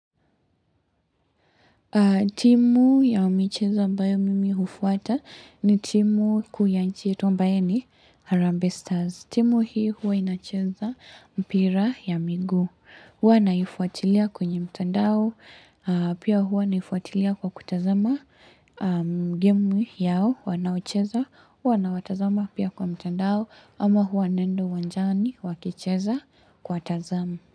Timu ya micheza ambayo mimi hufuata ni timu kuu ya nchi yetu ambayo ni Harambe Stars. Timu hii huwa inacheza mpira ya miguu. Huwa naifuatilia kwenye mtandao. Pia huwa naifuatilia kwa kutazama gemu yao. Wanaocheza. Hwa na watazama pia kwa mtandao. Ama wanaendo uwanjani wakicheza kwa tazama.